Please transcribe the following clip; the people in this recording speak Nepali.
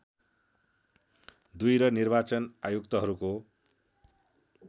दुई र निर्वाचन आयुक्तहरूको